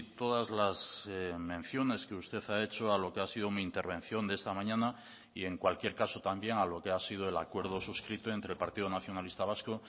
todas las menciones que usted ha hecho a lo que ha sido mi intervención de esta mañana y en cualquier caso también a lo que ha sido el acuerdo suscrito entre el partido nacionalista vasco